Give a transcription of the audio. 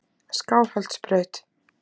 Skálholtsbraut